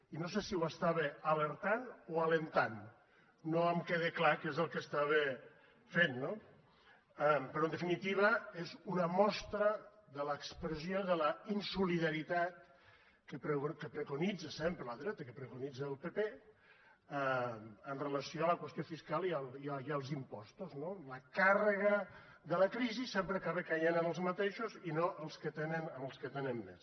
i no sé si estava alertant ne o animant hi no em queda clar què és el que feia no però en definitiva és una mostra de l’expressió de la insolidaritat que preconitza sempre la dreta que preconitza el pp amb relació a la qüestió fiscal i als impostos no la càrrega de la crisi sempre acaba caient en els mateixos i no en els que tenen més